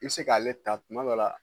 I bɛ se k'ale ta tuma dɔ la